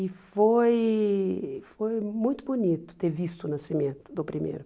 E foi foi muito bonito ter visto o nascimento do primeiro.